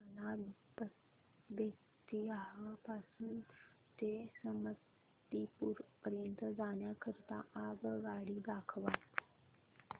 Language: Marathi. मला बेत्तीयाह पासून ते समस्तीपुर पर्यंत जाण्या करीता आगगाडी दाखवा